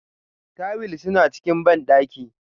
Tuwil suna cikin bandaki.